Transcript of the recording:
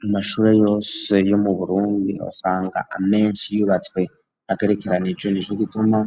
Mu mashure yose yo mu burundi osanga amenshi yubatswe hagerekeranijwe n'ije gituma